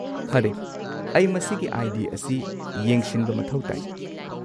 ꯐꯔꯦ, ꯑꯩ ꯃꯁꯤꯒꯤ ꯑꯥꯏ.ꯗꯤ. ꯑꯁꯤ ꯌꯦꯡꯁꯤꯟꯕ ꯃꯊꯧ ꯇꯥꯏ꯫